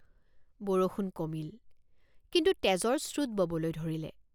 বৰষুণ কমিল কিন্তু তেজৰ স্ৰোত ববলৈ ধৰিলে।